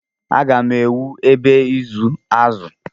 Agá m ewu ebe ịzụ azụ.